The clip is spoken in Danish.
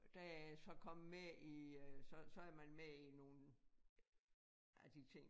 Og der er jeg så kommet med i øh så så er man med i nogle af de ting